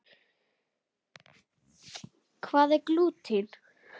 Hvað er glúten?